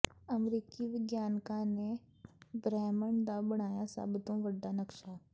ਅਮਰੀਕੀ ਵਿਗਿਆਨਕਾਂ ਨੇ ਬ੍ਰਹਿਮੰਡ ਦਾ ਬਣਾਇਆ ਸਭ ਤੋਂ ਵੱਡਾ ਨਕਸ਼ਾ